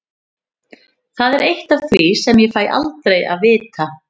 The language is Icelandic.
Það er eitt af því sem ég fæ aldrei að vita.